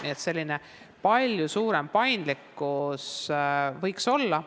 Nii et palju suurem paindlikkus võiks olla.